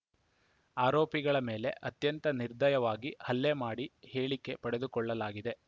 ಆರೋಪಿಗಳ ಮೇಲೆ ಅತ್ಯಂತ ನಿರ್ದಯವಾಗಿ ಹಲ್ಲೆ ಮಾಡಿ ಹೇಳಿಕೆ ಪಡೆದುಕೊಳ್ಳಲಾಗಿದೆ